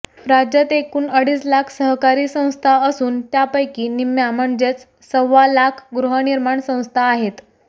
राज्यात एकूण अडीच लाख सहकारी संस्था असून त्यापैकी निम्म्या म्हणजे सव्वा लाख गृहनिर्माण संस्था आहेत